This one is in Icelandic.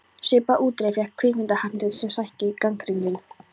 Svipaða útreið fékk kvikmyndahandrit sem sænski gagnrýnandinn